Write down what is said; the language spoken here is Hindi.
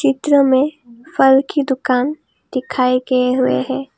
चित्र में फल की दुकान दिखाए गए हुए हैं।